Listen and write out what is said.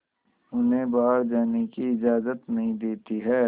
उन्हें बाहर जाने की इजाज़त नहीं देती है